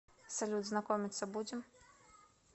салют знакомиться будем